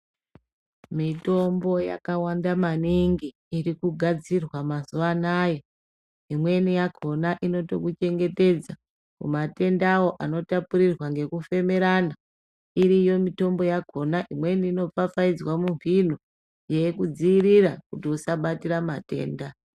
Mitombo yakawanda maningi irikugadzirwa mazuva anaya , Imweni yakona inotokuchengetedza kumatendawo anotapurirwa ngekufemerana .Iriyo mitombo yakona Imweni inofafaidzwa mumbino yeikudzivirira kuti usabatire matenda.